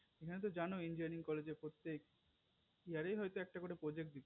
তুমি হয়তো জানোই যে engineering এ পড়তে year এ হয়তো একটা করে project দিবে